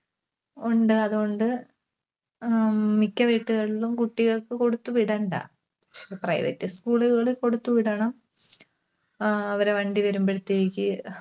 ഉണ്ട്. അതുകൊണ്ട് അഹ് ഉം മിക്ക വീട്ടുകളിലും കുട്ടികൾക്ക് കൊടുത്തുവിടണ്ട. private school കളിൽ കൊടുത്തു വിടണം. ആഹ് അവരുടെ വണ്ടി വരുമ്പഴത്തേക്ക്